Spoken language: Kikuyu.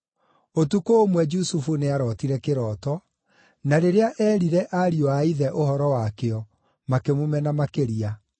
Ũtukũ ũmwe Jusufu nĩarootire kĩroto, na rĩrĩa eerire ariũ a ithe ũhoro wakĩo, makĩmũmena makĩria.